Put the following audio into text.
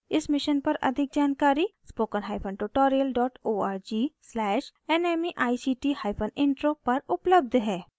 इस mission पर अधिक जानकारी spoken hyphen tutorial dot org slash nmeict hyphen intro पर उपलब्ध है